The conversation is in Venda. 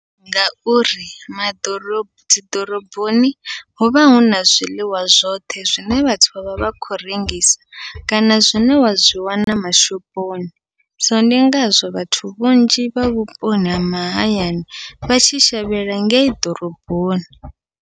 Ngauri ma ḓorobo dziḓoroboni huvha huna zwiḽiwa zwoṱhe zwine vhathu vha vha vha khou rengisa, kana zwine wa zwi wana mashoponi so ndi ngazwo vhathu vhanzhi vha vhuponi ha mahayani vha tshi shavhela ngei ḓoroboni.